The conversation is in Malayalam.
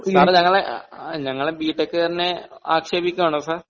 സാറ് ഞങ്ങളെ ഞങ്ങള് ബി ടെക് കാരനെ ആക്ഷേപിക്കുകയാണോ സർ